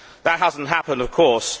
That has not happened, of course.